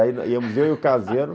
Aí íamos eu e o caseiro...